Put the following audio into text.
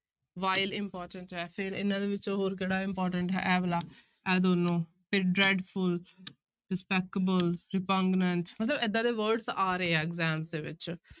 Vile important ਹੈ, ਫਿਰ ਇਹਨਾਂ ਦੇ ਵਿੱਚੋਂ ਹੋਰ ਕਿਹੜਾ important ਹੈ ਇਹ ਵਾਲਾ ਇਹ ਦੋਨੋਂ, ਫਿਰ dreadful despicable, repugnant ਮਤਲਬ ਏਦਾਂ ਦੇ words ਆ ਰਹੇ ਹੈ exam ਦੇ ਵਿੱਚ।